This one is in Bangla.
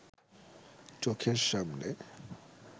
চোখের সামনে